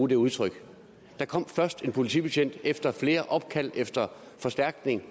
det udtryk der kom først en politibetjent efter flere opkald efter forstærkning